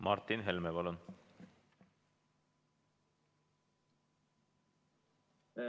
Martin Helme, palun!